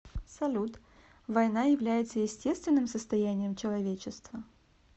салют война является естественным состоянием человечества